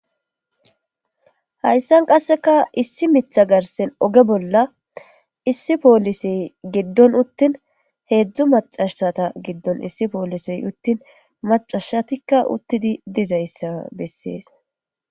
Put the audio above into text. Hayssan qassika issi miththa garssen oge bolla issi poolisee giddon uththin heezzu maccasatha giddon issi poolisee uththin maccashatikka uththi dizayssa bessees.